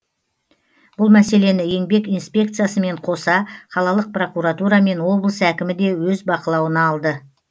бұл мәселені еңбек инспекциясымен қоса қалалық прокуратура мен облыс әкімі де өз бақылауына алды